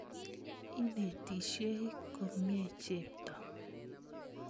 Inetisyei komnye Cheptoo .